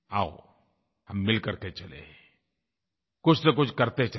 आओं हम मिल करके चलें कुछनकुछ करते चलें